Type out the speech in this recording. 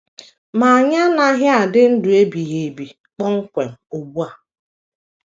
Ma anyị anaghị adị ndụ ebighị ebi kpọmkwem ugbu a.